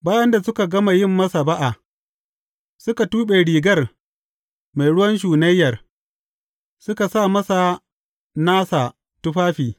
Bayan da suka gama yin masa ba’a, suka tuɓe rigar mai ruwan shunayyar, suka sa masa nasa tufafi.